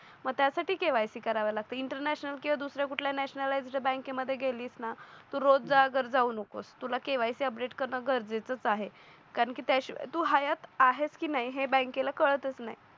मग त्यासाठी KYC करावी लागते इंटरनॅशनल किंवा दुसऱ्या कुठल्या नॅशनल तिथे बँकेमध्ये गेलीस ना तू रोजगार जाऊ नकोस तुला केवायसी अपडेट करणे गरजेचे आहे कारण की तू हायात आहेस की नाही हे बँकेला कळतच नाही